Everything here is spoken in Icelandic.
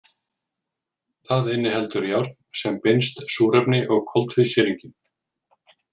Það inniheldur járn sem binst súrefni og koltvísýringi.